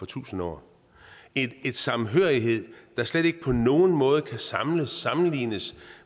tusind år en samhørighed der slet ikke på nogen måde kan sammenlignes sammenlignes